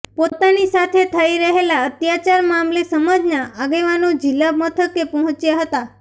પોતાની સાથે થઈ રહેલા અત્યાચાર મામલે સમાજના આગેવાનો જિલ્લા મથકે પહોંચ્યા હતા